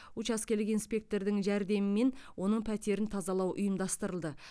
учаскелік инспектордың жәрдемімен оның пәтерін тазалау ұйымдастырылды